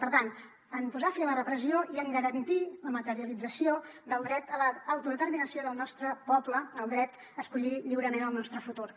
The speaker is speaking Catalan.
per tant en posar fi a la repressió i en garantir la materialització del dret a l’autodeterminació del nostre poble el dret a escollir lliurement el nostre futur